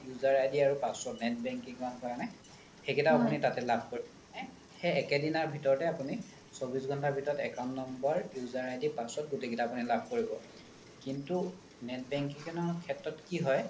user ID password net banking ৰ কাৰণে সেকেইতাও আপোনি তাতে লাভ কৰিব মানে সেই একে দিনাৰ ভিতৰতে আপোনি চৌবিশ ঘণ্টাৰ ভিতৰত account number user ID password গোতেই কেইতা আপোনি লাভ কৰিব কিন্তু net banking ৰ সেত্ৰত কি হয়